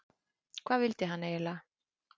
Hvað vildi hann eiginlega?